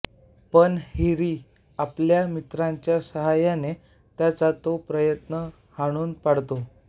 पण हॅरी आपल्या मित्रांच्या सहाय्याने त्याचा तो प्रयत्न हाणून पाडतो